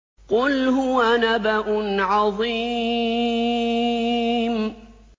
قُلْ هُوَ نَبَأٌ عَظِيمٌ